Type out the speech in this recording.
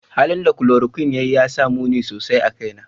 Halin da chloroquine ya yi ya sa muni sosai a kaina.